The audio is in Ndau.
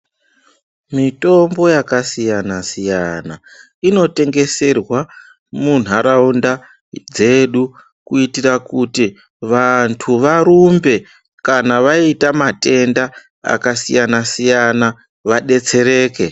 Mitombo yakasiyana-siyana, inotengeserwa muntaraunda dzedu kuitira kuti vantu varumbe kana vaita matenda akasiyana-siyana, vadetsereke.